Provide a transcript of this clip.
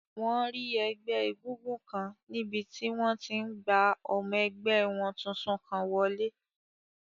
Wọ́n rí ẹgbẹ́ égúngún kan níbi tí wọ́n ti n gba ọmọ ẹgbẹ́ wọn tuntun kan wọlé